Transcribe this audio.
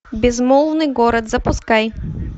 безмолвный город запускай